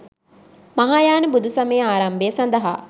මහායාන බුදුසමයේ ආරම්භය සඳහා